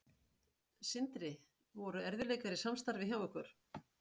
Sindri: Voru erfiðleikar í samstarfi hjá ykkur?